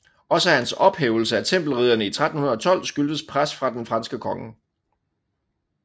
Også hans ophævelse af Tempelridderne i 1312 skyldtes pres fra den franske konge